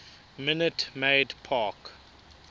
minute maid park